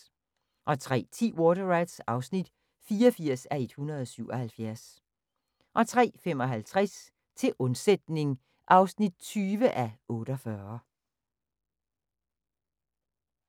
03:10: Water Rats (84:177) 03:55: Til undsætning (20:48)